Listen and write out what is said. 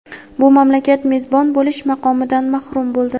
bu mamlakat mezbon bo‘lish maqomidan mahrum bo‘ldi.